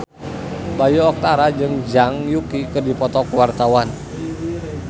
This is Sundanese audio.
Bayu Octara jeung Zhang Yuqi keur dipoto ku wartawan